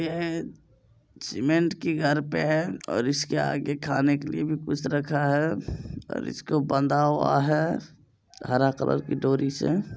यह सिमेन्ट की घर पे है और इस के आगे खाने के लिए भी कुछ रखा है और इसको बंधा हुआ है हरा कलर की डोरी से।